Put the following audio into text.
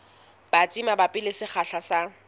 batsi mabapi le sekgahla sa